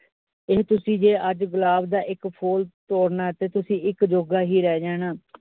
ਇਹ ਤੁਸੀ ਜੇ ਅੱਜ ਗੁਲਾਬ ਦਾ ਇਕ ਫੁੱਲ ਤੋੜਨਾ ਤਾ, ਤੁਸੀ ਇਕ ਜੋਗਾ ਹੀ ਰਹਿ ਜਾਣਾ ।